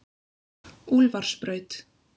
Úlfarsbraut